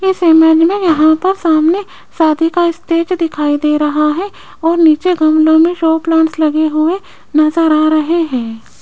इस इमेज में यहां पर सामने शादी का स्टेज दिखाई दे रहा है और नीचे गमले में शो प्लांट्स लगे हुए नजर आ रहे है।